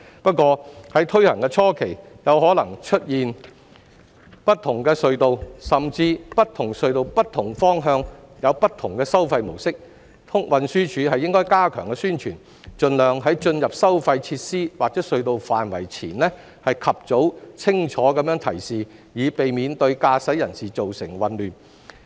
不過，在推行初期，有可能出現不同隧道，甚至不同隧道不同方向有不同的收費模式，運輸署應加強宣傳，盡量在車輛進入收費設施或隧道範圍前，及早作出清楚的提示，以避免對駕駛人士造成混亂。